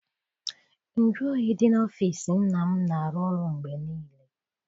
Nju oyi dị n'ọfịịsi nna m na arụ ọrụ mgbe niile.